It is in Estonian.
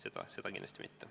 Seda kindlasti mitte.